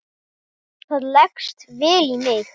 Það leggst vel í mig.